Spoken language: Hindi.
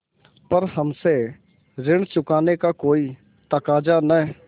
पर हमसे ऋण चुकाने का कोई तकाजा न